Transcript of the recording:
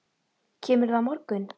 Kemurðu á morgun?